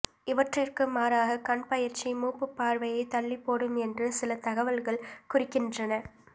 இவற்றிற்கு மாறாக கண் பயிற்சி மூப்புப்பார்வையைத் தள்ளிப்போடும் என்று சில தகவல்கள் குறிக்கின்றன